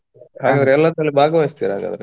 ಹಾಗಾದ್ರೆ ಎಲ್ಲಾ ಸಲ ಭಾಗವಹಿಸ್ತಿರ ಹಾಗಾದ್ರೆ.